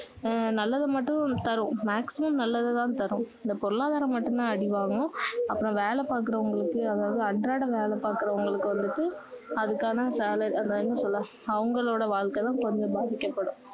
நல்லதை மட்டும் தரும் maximum நல்லதை தான் தரும் பொருளாதாரம் மட்டும் தான் அடி வாங்கும் அப்பறம் வேலை பார்க்குரவங்களுக்கு அதாவது அன்றாடம் வேலை பார்க்குறவங்களுக்கு வந்துட்டு அதுக்கான வேலை அந்த என்ன சொல்லுற அவங்களோட வாழ்க்கை தான் கொஞ்சம் பாதிக்கப்படும்